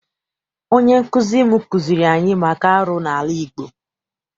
Onye nkụzi m kụziere anyị maka arụ n'ala Igbo.